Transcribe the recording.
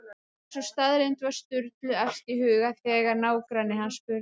Og sú staðreynd var Sturlu efst í huga þegar nágranni hans spurði